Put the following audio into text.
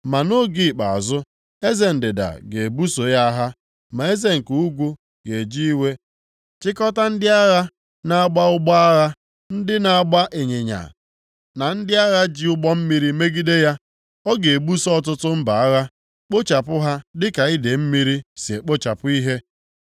“Ma nʼoge ikpeazụ, eze ndịda ga-ebuso ya agha, ma eze nke ugwu ga-eji iwe chịkọta ndị agha na-agba ụgbọ agha, ndị na-agba ịnyịnya na ndị agha ji ụgbọ mmiri megide ya. Ọ ga-ebuso ọtụtụ mba agha, kpochapụ ha dịka idee mmiri si ekpochapụ ihe.